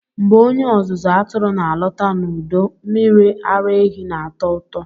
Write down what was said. Mgbe onye ọzụzụ atụrụ na-alọta n'udo, mmiri ara ehi na-atọ ụtọ.